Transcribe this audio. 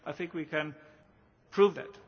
And I think we can prove that.